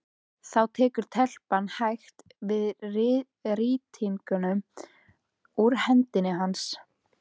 Þá tekur telpan hægt við rýtingnum úr hendi hans.